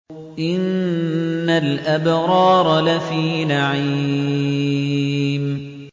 إِنَّ الْأَبْرَارَ لَفِي نَعِيمٍ